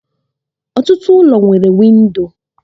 Ọtụtụ ụlọ nwere windò